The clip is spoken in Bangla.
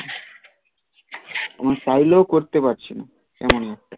চাইলেও করতে পারছি না